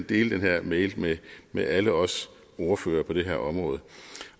dele den her mail med med alle os ordførere på det her område